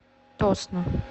тосно